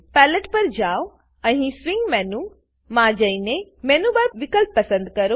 palette palette પર જાવ અને સ્વિંગ મેનસ સ્વીંગ મેનુસ માં જઈને મેનું બાર મેનુ બાર વિકલ્પ પસંદ કરો